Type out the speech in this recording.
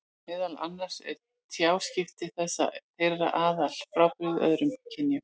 Meðal annars eru tjáskipti þeirra þeirra afar frábrugðin öðrum kynjum.